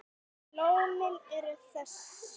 Lónin eru þessi